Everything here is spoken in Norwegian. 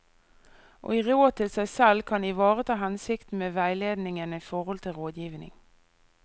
Å gi råd til seg selv kan ivareta hensikten med veiledningen i forhold til rådgivning.